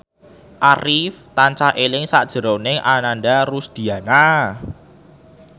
Arif tansah eling sakjroning Ananda Rusdiana